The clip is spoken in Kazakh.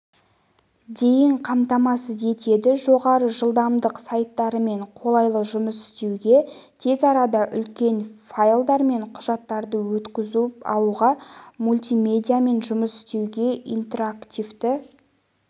дейін қамтамасыз етеді жоғары жылдамдық сайттармен қолайлы жұмыс істеуге тез арада үлкен файлдар мен құжаттарды өткізіп алуға мультимедиамен жұмыс істеуге интерактивті